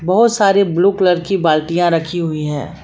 बहुत सारे blue colour की बाल्टीया रखी हुई हैं।